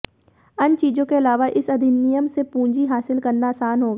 अन्य चीजों के अलावा इस अधिनियम से पूंजी हासिल करना आसान होगा